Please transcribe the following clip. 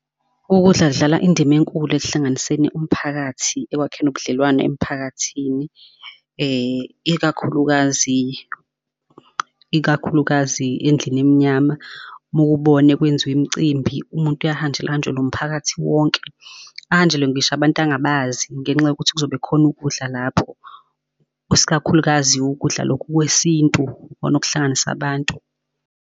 Ukudla kudlala indima enkulu ekuhlanganiseni umphakathi ekwakheni ubudlelwane emphakathini, ikakhulukazi, ikakhulukazi endlini emnyama. Mowubona kwenziwe imicimbi umuntu ahanjelwe umphakathi wonke, ahanjelwe ngisho abantu angabazi ngenxa yokuthi kuzobe khona ukudla lapho, iskakhulukazi ukudla lokhu kwesintu ikona okuhlanganisa abantu.